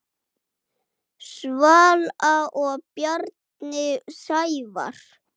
Svala og Bjarni Sævar.